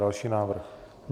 Další návrh.